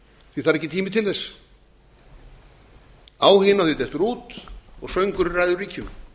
því að það er ekki tími til þess áhuginn á því dettur út og söngurinn ræður ríkjum